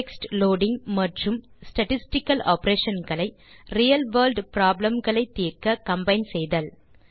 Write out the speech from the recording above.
text loading மற்றும் the statistical operation களை real world problem களை தீர்க்க கம்பைன் செய்தல்